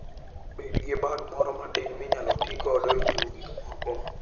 Bed gi bag moro matin minyalo ti godo e ng'iewo gik moko.